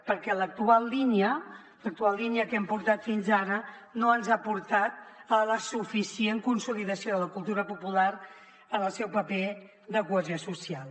perquè l’actual línia l’actual línia que hem portat fins ara no ens ha portat a la suficient consolidació de la cultura popular en el seu paper de cohesió social